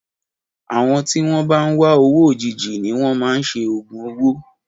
Àwọn tí wọn bá ń wá owó òjijì ni wọn máa ń ṣe ògùn owó.